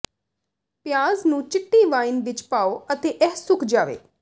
ਪਿਆਜ਼ ਨੂੰ ਚਿੱਟੀ ਵਾਈਨ ਵਿਚ ਪਾਓ ਅਤੇ ਇਹ ਸੁੱਕ ਜਾਵੇ